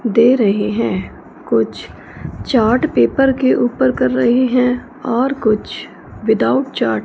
दे रही है कुछ चार्ट पेपर के ऊपर कर रहे हैं और कुछ विदाउट चार्ट --